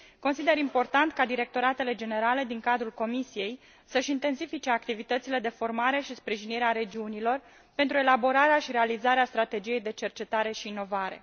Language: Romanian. Consider important ca directoratele generale din cadrul Comisiei să își intensifice activitățile de formare și sprijinire a regiunilor, pentru elaborarea și realizarea strategiei de cercetare și inovare.